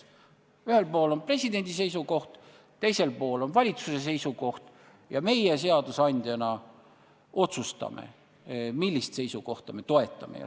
Ühel pool on presidendi seisukoht ja teisel pool on valitsuse seisukoht ning meie seadusandjana otsustame, millist seisukohta me toetame.